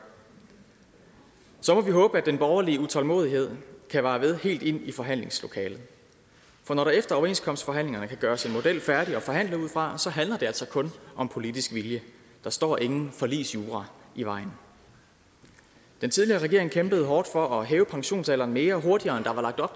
så må vi håbe at den borgerlige utålmodighed kan vare ved helt ind i forhandlingslokalet for når der efter overenskomstforhandlingerne kan gøres en model færdig at forhandle ud fra handler det altså kun om politisk vilje der står ingen forligsjura i vejen den tidligere regering kæmpede hårdt for at hæve pensionsalderen mere og hurtigere